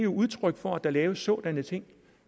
udtryk for at der laves sådanne ting